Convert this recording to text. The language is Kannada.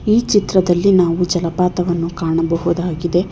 ಈ ಚಿತ್ರದಲ್ಲಿ ನಾವು ಜಲಪಾತವನ್ನು ಕಾಣಬಹುದಾಗಿದೆ.